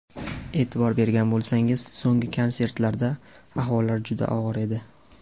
E’tibor bergan bo‘lsangiz, so‘nggi konsertlarida ahvollari juda og‘ir edi.